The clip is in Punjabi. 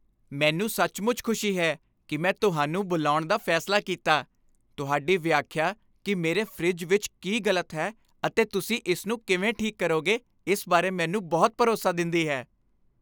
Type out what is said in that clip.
ਮੈਨੂੰ ਸੱਚਮੁੱਚ ਖੁਸ਼ੀ ਹੈ ਕਿ ਮੈਂ ਤੁਹਾਨੂੰ ਬੁਲਾਉਣ ਦਾ ਫੈਸਲਾ ਕੀਤਾ ਤੁਹਾਡੀ ਵਿਆਖਿਆ ਕਿ ਮੇਰੇ ਫਰਿੱਜ ਵਿੱਚ ਕੀ ਗ਼ਲਤ ਹੈ ਅਤੇ ਤੁਸੀਂ ਇਸਨੂੰ ਕਿਵੇਂ ਠੀਕ ਕਰੋਗੇ ਇਸ ਬਾਰੇ ਮੈਨੂੰ ਬਹੁਤ ਭਰੋਸਾ ਦਿੰਦੀ ਹੈ